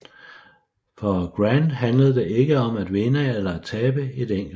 For Grant handlede det ikke om at vinde eller tabe et enkelt slag